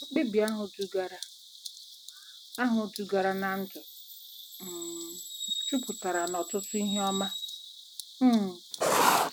Mkpebi ahụ dugara ahụ dugara ná ndụ um jupụtara n'ọtụtụ ihe ọma um.